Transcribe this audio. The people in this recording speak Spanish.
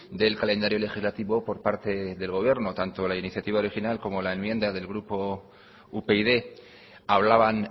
del calendario legislativo por parte del gobierno tanto la iniciativa original como la enmienda del grupo upyd hablaban